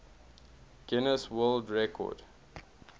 guinness world record